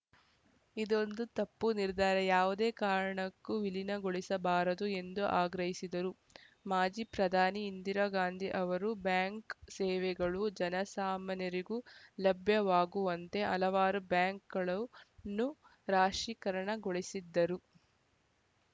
ಇದೊಂದು ತಪ್ಪು ನಿರ್ಧಾರ ಯಾವುದೇ ಕಾರಣಕ್ಕೂ ವಿಲೀನಗೊಳಿಸಬಾರದು ಎಂದು ಆಗ್ರಹಿಸಿದರು ಮಾಜಿ ಪ್ರಧಾನಿ ಇಂದಿರಾ ಗಾಂಧಿ ಅವರು ಬ್ಯಾಂಕ್‌ ಸೇವೆಗಳು ಜನಸಾಮಾನ್ಯರಿಗೂ ಲಭ್ಯವಾಗುವಂತೆ ಹಲವಾರು ಬ್ಯಾಂಕ್‌ಗಳು ನ್ನೂ ರಾಶಿಕರಣಗೊಳಿಸಿದ್ದರು